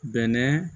Bɛnɛ